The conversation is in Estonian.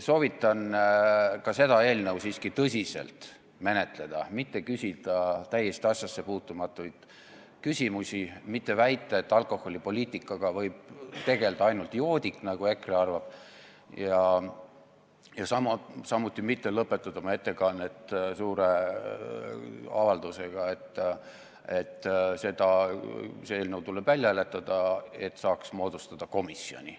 Soovitan ka seda eelnõu siiski tõsiselt menetleda, mitte küsida täiesti asjasse puutumatuid küsimusi, mitte väita, et alkoholipoliitikaga võib tegeleda ainult joodik, nagu EKRE arvab, ja samuti mitte lõpetada oma ettekannet suure avaldusega, et see eelnõu tuleb välja hääletada, selleks et saaks moodustada komisjoni.